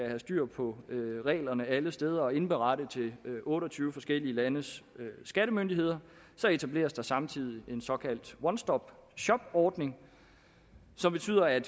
have styr på reglerne alle steder og indberette til otte og tyve forskellige landes skattemyndigheder så etableres der samtidig en såkaldt one stop shop ordning som betyder at